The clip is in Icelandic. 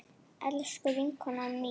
Elsku vinkona mín.